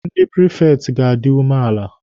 Ndị prifekti ga-adi umeala.